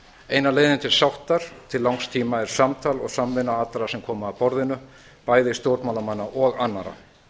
eina leiðin til sáttar til langs tíma er samtal og samvinna allra sem koma að borðinu bæði stjórnmálamanna og annað